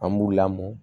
An b'u lamɔ